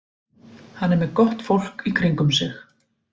Hann er með gott fólk í kringum sig.